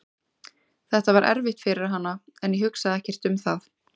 Þetta var erfitt fyrir hana en ég hugsaði ekkert um það.